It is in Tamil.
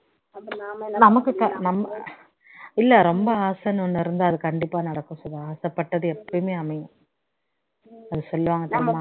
நமக்கு இல்ல ரொம்ப ஆசைன்னு ஒன்னு இருந்தா அது கண்டிப்பா நடக்கும் சுதா ஆசைபட்டது அமையும் அது சொல்லுவாங்க